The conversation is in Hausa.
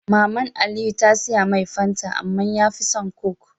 Maman aliyu ta siyamai fanta amma yafi son coke